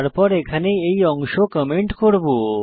তারপর এখানে এই অংশ কমেন্ট করব